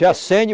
Se acende.